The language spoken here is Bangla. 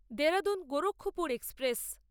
দেরাদুন গোরক্ষপুর এক্সপ্রেস